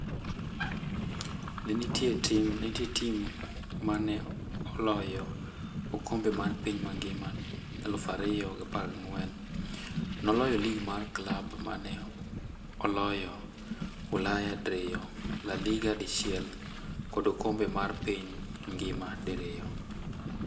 Ne entie tim ma ne oloyo okombe mar piny mangima 2014, noloyo lig mar klab mane oloyo ulaya diriyo, La Liga dichiel kod okombe mar piny ngima diriyo.